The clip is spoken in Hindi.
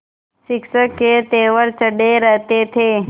शिक्षक के तेवर चढ़े रहते थे